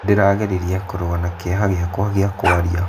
Ndĩrageririe kũrũa na kĩeha gĩakwa kĩa kũaria.